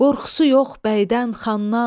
Qorxusu yox bəydən xandan.